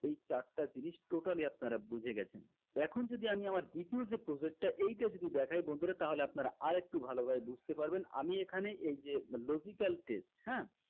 এই চারটা জিনিস totally আপনারা বুঝে গেছেন এখন যদি আমি আমার দ্বিতীয় যে project টা এইটা যদি দেখাই বন্ধুরা তাহলে আপনারা আরেকটু ভালোভাবে বুঝতে পারবেন আমি এখানে এইযে logical test হ্যা